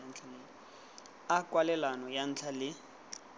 a kwalelano ya ntlha le